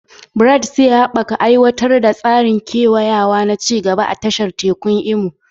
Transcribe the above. Bright zai haɓaka aiwatar da tsarin kewayawa na ci gaba a tashar tekun Imo.